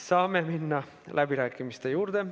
Saame minna läbirääkimiste juurde.